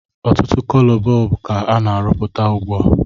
Otụtụ cọlọ bọọlbụ ka a na arụpụta ụgbụa